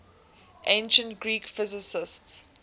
ancient greek physicists